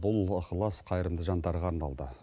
бұл ықылас қайырымды жандарға арналды